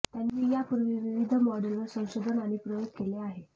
त्यांनी यापूर्वी विविध मॉडेलवर संशोधन आणि प्रयोग केले आहे